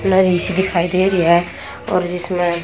लड़ी सी दिखाई दे रही है और जिसमें--